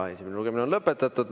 Esimene lugemine on lõpetatud.